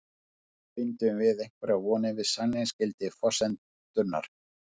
Bindum við einhverjar vonir við sannleiksgildi forsendunnar?